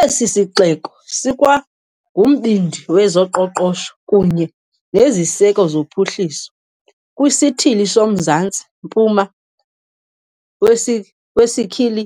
Esi sixeko sikwangumbindi wezoqoqosho kunye neziseko zophuhliso kwiSithili soMzantsi-mpuma wesi weSicily,